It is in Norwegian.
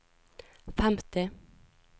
femti